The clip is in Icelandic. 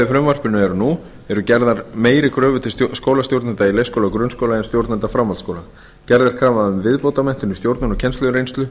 frumvarpinu eru nú eru gerðar meiri kröfur til skólastjórnenda í leikskóla og grunnskóla en stjórnenda framhaldsskóla gerð er krafa um viðbótarmenntun í stjórnun og kennslureynslu